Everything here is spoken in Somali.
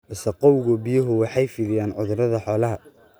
Wasakhowga biyuhu waxay fidiyaan cudurrada xoolaha.